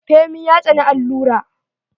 Femi ya tsani allura.